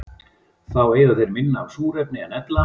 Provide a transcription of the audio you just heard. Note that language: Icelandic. Þá eyða þeir minna af súrefni en ella.